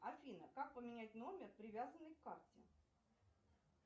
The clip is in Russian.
афина как поменять номер привязанный к карте